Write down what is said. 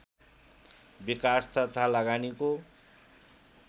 विकास तथा लगानीको